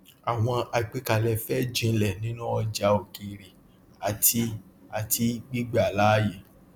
àwọn àgbékalẹ fẹ jìnlẹ nínú ọjà òkèèrè àti àti gbígbà láàyè